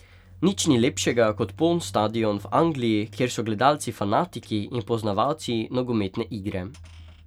Nič ni lepšega kot poln stadion v Angliji, kjer so gledalci fanatiki in poznavalci nogometne igre.